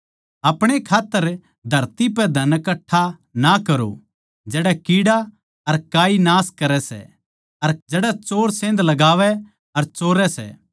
अपणे खात्तर धरती पे धन कठ्ठा ना करो जड़ै कीड़ा अर काई नाश करै सै अर जड़ै चोर सेंध लगावै अर चोरै सै